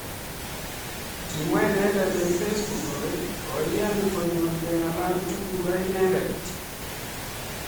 Kimwaa inendet eng Facebook kole koiyan konyor kengalal tugul akinendet.